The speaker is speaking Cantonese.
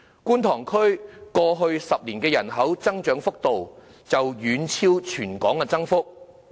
觀塘區過去10年的人口增長幅度，已經遠超全港增幅。